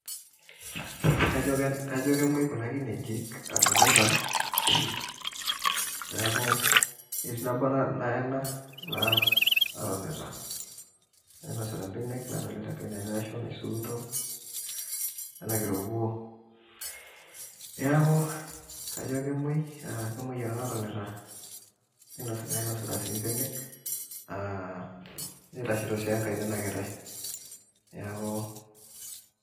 Kajo kemoi kuna kinejik adolita, neeku etii nabo naena naa natonita nainosita benek, nadolita enkae naisuuto, nenakita orkuo. Neeku kajo kemoi, kemoi ena natonita nainosita si benek, ah nitashito si enkae nena kitai. Neeku